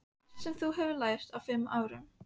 Allt sem þú hefur lært á fimm árum.